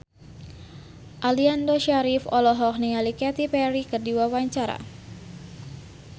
Aliando Syarif olohok ningali Katy Perry keur diwawancara